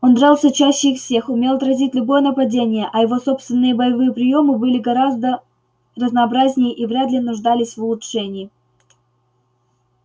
он дрался чаще их всех умел отразить любое нападение а его собственные боевые приёмы были гораздо разнообразнее и вряд ли нуждались в улучшении